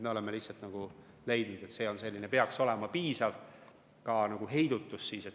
Me oleme lihtsalt leidnud, et see peaks olema piisav heidutus.